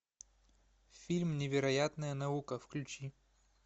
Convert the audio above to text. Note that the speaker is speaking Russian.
фильм невероятная наука включи